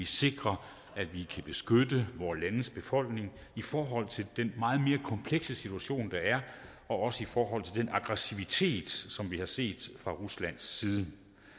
sikre at vi kan beskytte vores landes befolkninger i forhold til den meget mere komplekse situation der er og også i forhold til den aggressivitet som vi har set fra ruslands side